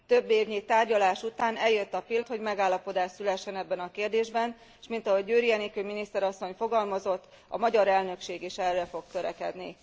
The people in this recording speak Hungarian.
Többévnyi tárgyalás után eljött a pillanat, hogy megállapodás szülessen ebben a kérdésben, és mint ahogy Győri Enikő miniszter asszony fogalmazott, a magyar elnökség is erre fog törekedni.